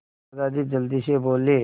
दादाजी जल्दी से बोले